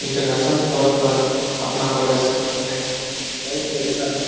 International forum पर अपना contest करते हैं। बहुत ही अच्छा है।